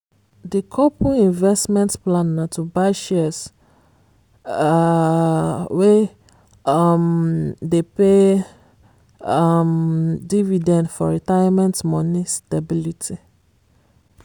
di couple investment plan na to buy shares um wey um dey pay um dividend for retirement money stability.